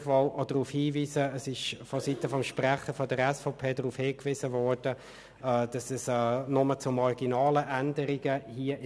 Gleichwohl erwähne ich noch, dass der SVP-Sprecher darauf hingewiesen hat, es sei in dieser Vorlage nur zu marginalen Änderungen gekommen.